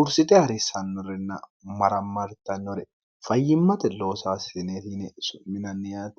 ursite harissannorinna marammartannore fayyimmate loosaasineeti yine su'minanniyaatti